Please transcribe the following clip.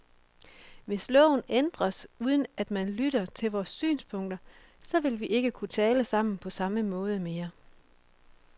Hvis loven ændres, uden at man lytter til vores synspunkter, så vil vi ikke kunne tale sammen på samme måde mere.